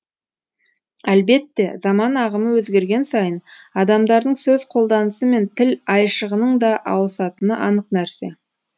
әлбетте заман ағымы өзгерген сайын адамдардың сөз қолданысы мен тіл айшығының да ауысатыны анық нәрсе